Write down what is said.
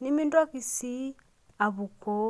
nimintoki sii apukoo.